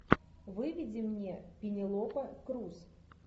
выведи мне пенелопа круз